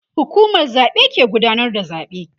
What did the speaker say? hukumar zaɓe ke gudanar da zaɓe